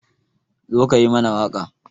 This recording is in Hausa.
Zo ka yi mana waƙa